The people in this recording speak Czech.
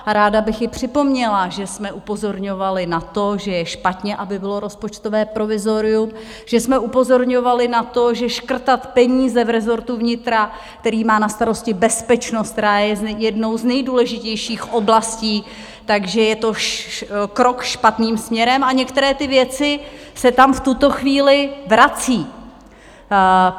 A ráda bych je připomněla, že jsme upozorňovali na to, že je špatně, aby bylo rozpočtové provizorium, že jsme upozorňovali na to, že škrtat peníze v rezortu vnitra, který má na starosti bezpečnost, která je jednou z nejdůležitějších oblastí, že je to krok špatným směrem, a některé ty věci se tam v tuto chvíli vrací.